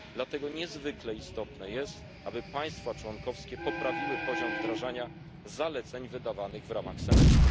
Dlatego niezwykle istotne jest, aby państwa członkowskie poprawiły poziom wdrażania zaleceń wydawanych w ramach semestru.